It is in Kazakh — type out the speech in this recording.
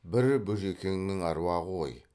бір бөжекеңнің аруағы ғой